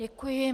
Děkuji.